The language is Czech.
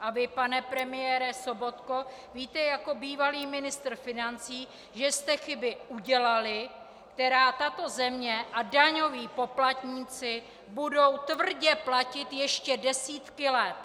A vy, pane premiére Sobotko, víte jako bývalý ministr financí, že jste chyby udělali, které tato země a daňoví poplatníci budou tvrdě platit ještě desítky let.